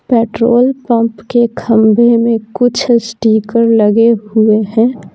Petrol pump के खंभे में कुछ स्टीकर लगे हुए हैं।